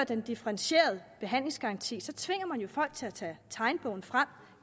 den differentierede behandlingsgaranti tvinger man folk til at tage tegnebogen frem